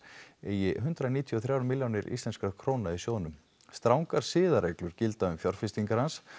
eigi hundrað níutíu og þrjár milljónir íslenskra króna í sjóðnum strangar siðareglur gilda um fjárfestingar hans